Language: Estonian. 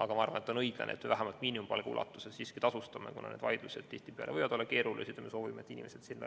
Aga ma arvan, et on õiglane, et me seda vähemalt miinimumpalga ulatuses tasustame, kuna need vaidlused võivad tihtipeale olla keerulised ja me soovime, et inimesed